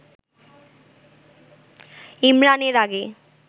ইমরান এর আগে